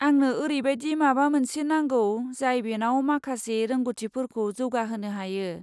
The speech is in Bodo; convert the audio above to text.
आंनो ओरैबायदि माबा मोनसे नांगौ जाय बेनाव माखासे रोंग'थिफोरखौ जौगाहोनो हायो।